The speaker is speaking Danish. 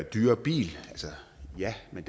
dyrere bil ja men